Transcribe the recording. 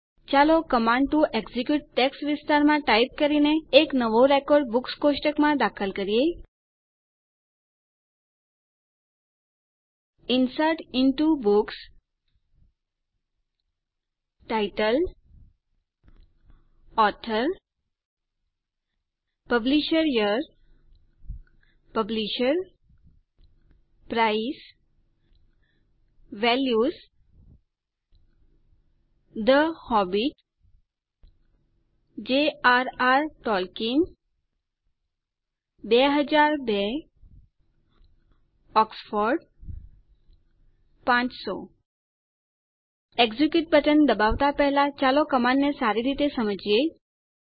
ચાલો command to execute text વિસ્તારમાં type કરીને એક નવો રેકોર્ડ બુક્સ કોષ્ટકમાં દાખલ કરીએ insert into books title author publisher publisher price values the Hobbit jrઆર ટોલ્કિયન 2002 ઓક્સફોર્ડ 500 એક્ઝિક્યુટ બટન દબાવવાં પહેલા ચાલો કમાંડને સારી રીતે સમજીએ